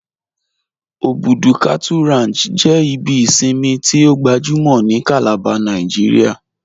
Obùdú Cattle Ranch jẹ ibi ìṣinmi tí o gbàjúmọ̀ ni Calabar Nàìjíríà